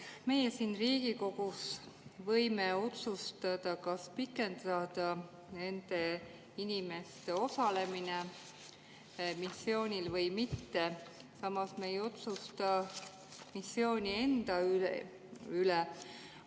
Meie siin Riigikogus võime otsustada, kas pikendada nende inimeste osalemist missioonil või mitte, samas me ei otsusta missiooni enda üle.